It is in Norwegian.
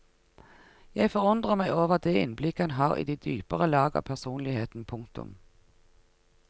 Jeg forundrer meg over det innblikk han har i de dypere lag av personligheten. punktum